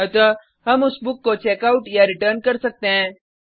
अतः हम उस बुक को checkoutरिटर्न कर सकते हैं